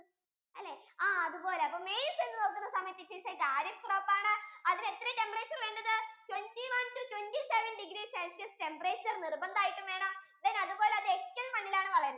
അല്ലെ ആഹ് അതുപോലെ maize എന്ന് നോക്കുന്ന സമയത്തു it is a kharif crop ആണ് അതിനു എത്രേയ temperature വേണ്ടത് twenty one to twenty seven degree celcius temperature നിർബന്ധം ആയിട്ടും വേണം അതുപോലെ അത് വളരുന്നത്